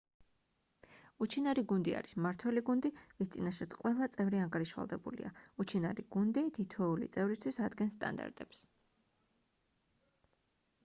უჩინარი გუნდი არის მმართველი გუნდი ვის წინაშეც ყველა წევრი ანგარიშვალდებულია უჩინარი გუნდი თითოეული წევრისთვის ადგენს სტანდარტებს